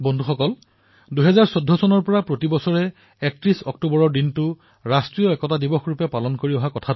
বন্ধুসকল আপোনালোকে জানে যে ২০১৪ চনৰ পৰা প্ৰতি বছৰে ৩১ অক্টোবৰ তাৰিখটো ৰাষ্ট্ৰীয় একতা দিৱস হিচাপে পালন কৰি অহা হৈছে